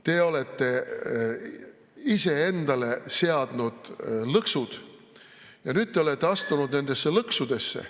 Te olete ise endale seadnud lõksud ja nüüd te olete astunud nendesse lõksudesse.